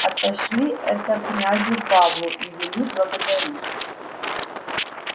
отошли это князю павлу и вели благодарить